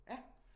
Ja